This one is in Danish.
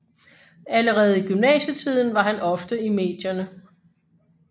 Allerede i gymnasietiden var han ofte i medierne